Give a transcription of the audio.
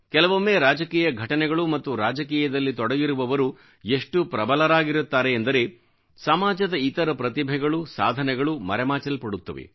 ಕೆಲವೊಮ್ಮೆ ರಾಜಕೀಯ ಘಟನೆಗಳು ಮತ್ತು ರಾಜಕೀಯದಲ್ಲಿ ತೊಡಗಿರುವವರು ಎಷ್ಟು ಪ್ರಬಲವಾಗಿರುತ್ತಾರೆ ಎಂದರೆ ಸಮಾಜದ ಇತರ ಪ್ರತಿಭೆಗಳು ಸಾಧನೆಗಳು ಮರೆಮಾಚಲ್ಪಡುತ್ತವೆ